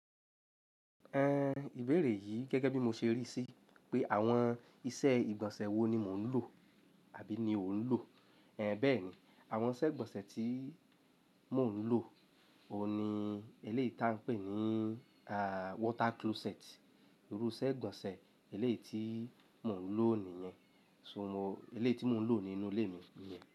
Ẹn ìbéèrè yìí gẹ́gẹ́ bí mo ṣe ríi sí pé àwọn iṣẹ́ ìgbọ̀nsẹ̀ wo ni mò ń lò àbí ni o ń lò. Ẹn bẹ́ẹ̀ ni, àwọn ìṣẹ́ ìgbọ̀nsẹ̀ tí mò ń lò òun ni eléè tí a ń pè ní a water closet. Irú iṣẹ́ ìgbọ̀nsẹ̀ eléyi tí mò ń lò nìyẹn. So mo eléè tí mò ń lò nínú ilé mi nìyẹn.